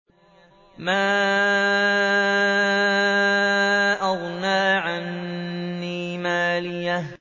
مَا أَغْنَىٰ عَنِّي مَالِيَهْ ۜ